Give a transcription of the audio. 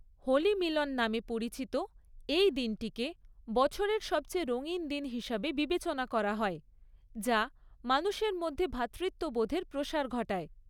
"হোলি মিলন" নামে পরিচিত এই দিনটিকে বছরের সবচেয়ে রঙিন দিন হিসাবে বিবেচনা করা হয়, যা মানুষের মধ্যে ভ্রাতৃত্ববোধের প্রসার ঘটায়।